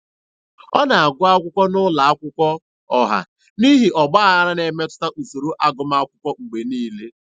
Ọ na-agụ akwụkwọ n'ụlọ akwụkwọ ọha n'ihi ọgbaghara na-emetụta usoro agụmakwụkwọ mgbe niile.